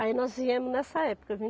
Aí nós viemos nessa época